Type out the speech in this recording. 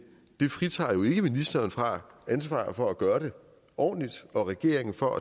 det fritager jo ikke ministeren for ansvaret for at gøre det ordentligt eller regeringen for